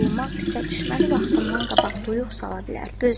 Burulmaq isə düşməni vaxtından qabaq duyuq sala bilər.